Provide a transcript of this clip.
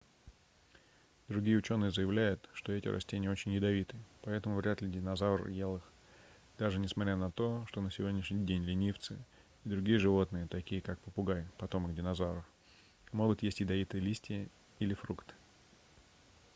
другие учёные заявляют что эти растения очень ядовиты поэтому вряд ли динозавр ел их даже несмотря на то что на сегодняшний день ленивцы и другие животные такие как попугай потомок динозавров могут есть ядовитые листья или фрукты